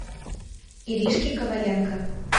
иришке коваленко